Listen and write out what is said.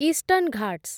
eastern Ghats